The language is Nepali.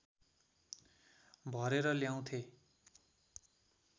भरेर ल्याउथेँ